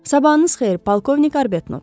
"Sabahınız xeyir, polkovnik Arbetnot."